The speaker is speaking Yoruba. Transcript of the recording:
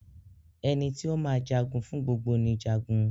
Ẹni tí o máa jagun fún gbogbo ni Jagun.